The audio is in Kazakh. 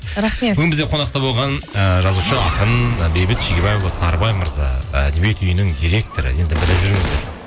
рахмет бүгін бізде қонақта болған і жазушы ақын і бейбіт шегебаұлы сарыбай мырза әдебиет үйінің директоры енді біліп жүріңіздер